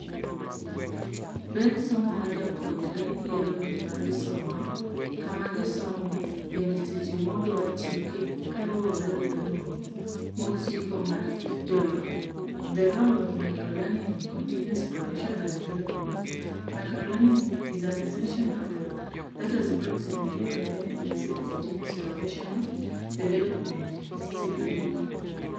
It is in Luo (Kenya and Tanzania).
Ber somo ma japuonjre yiero gima gisomo, kama gisomee bende seche modwa tiekee kaluwore gi dongruok mosiko mar jolony. The Role of Microlearning in Continuous Professional Development Microlearning is an essential approach that has brought significant benefits in continuous professional development (CPD).